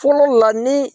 Fɔlɔ la ni